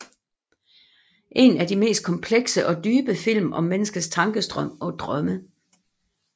En af de mest komplekse og dybe film om menneskets tankestrøm og drømme